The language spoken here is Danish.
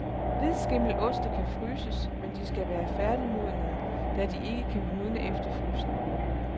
Hvidskimmeloste kan fryses, men de skal være færdigmodnede, da de ikke kan modne efter frysning.